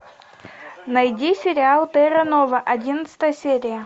найди сериал терра нова одиннадцатая серия